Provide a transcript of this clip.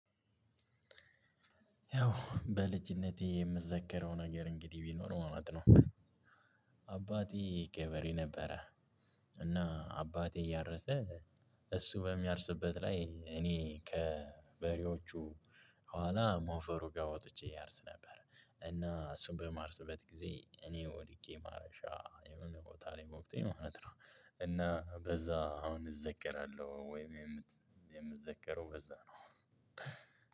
ያው በልጅነቴ የምዘከረው ነገር እንግዲህ ቢኖር ማለት ነው። አባቴ ገበሬ ነበረ። እና አባቴ እያረሰ እሱ በሚያርስበት ላይ እኔ ከበሬዎቹ ኋላ ሞፈሩ ጋር ወጥቼ አርስ ነበር እና እሱን በማርስበት ጊዜ እኔ ወድቄ ማረሻ የሆነ ቦታ ላይ ወግቶኝ ማለት ነው። እና በዛ አሁን እዘከራለሁ ወይም የምት የምዘከረው በዛ ነው።